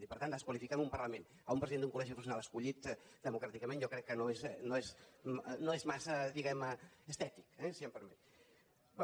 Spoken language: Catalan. i per tant desqualificar en un parlament un president d’un collegi professional escollit democràticament jo crec que no és massa diguem ne estètic eh si em permet